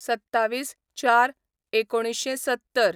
२७/०४/१९७०